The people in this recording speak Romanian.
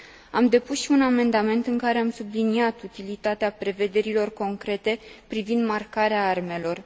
Am depus și un amendament în care am subliniat utilitatea prevederilor concrete privind marcarea armelor.